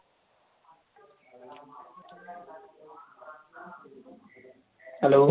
hello